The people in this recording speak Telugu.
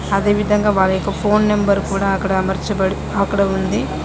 అదే విధంగా వారి యొక్క ఫోన్ నెంబర్ కూడా అక్కడ అమర్చబడి అక్కడ ఉంది.